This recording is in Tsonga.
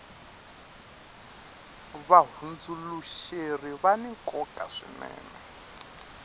vahundzuluxeri vani nkoka swinene